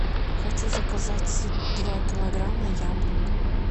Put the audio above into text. хочу заказать два килограмма яблок